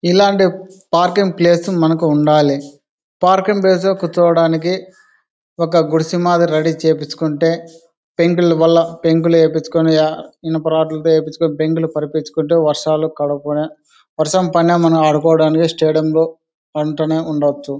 ఇల్లాంటి parking place మనకి ఉండాలిపార్కింగ్ ప్లేస్లో కూర్చోవడానికి ఒక గుడిసె మందిర రెడీ చేసుకుంటే పెంకులు కూడా పెంకులు ఏపీయిచుకుంటే ఇనపరాదులు ఈయపీచుకుంటే పెంకులు పార్సీచుకుంటూ వర్షాలు కడుక్కుని వర్షం పడిన ఆదుకోవడానికి స్టేడియం లు ఉండవచ్చు.